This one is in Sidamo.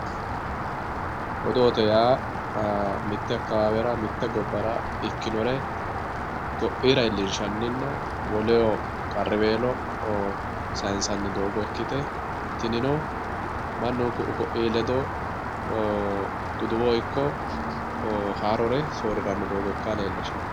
odoote yaa mitte akawaawera mitte gobbara ikinore ko"iira iilinshaninna woleyo qarriweelo sayiinsanni doogon ikkite tinino mannu ku"u ko'ii ledo duduwo ikko haarore sooriranno doogo ikka leelishshanno